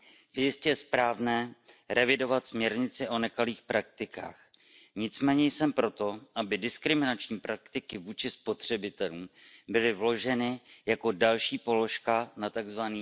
Je jistě správné revidovat směrnici o nekalých praktikách, nicméně jsem proto, aby diskriminační praktiky vůči spotřebitelům byly vloženy jako další položka na tzv.